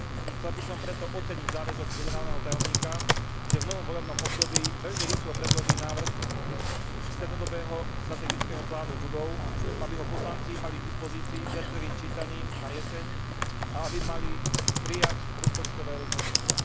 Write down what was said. Chcel by som preto oceniť záväzok generálneho tajomníka, že v novom volebnom období veľmi rýchlo predloží návrh strednodobého strategického plánu budov, aby ho poslanci mali k dispozícii pred prvým čítaním na jeseň a aby mohli prijať rozpočtové rozhodnutia.